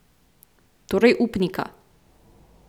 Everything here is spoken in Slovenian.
Torej upnika.